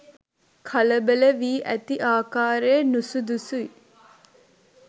කලබල වී ඇති ආකාරය නුසුදුසුයි.